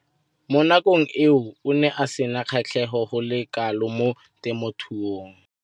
Mo nakong eo o ne a sena kgatlhego go le kalo mo temothuong.